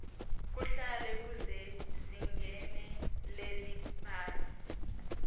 kuhle kusezingeni leliphasi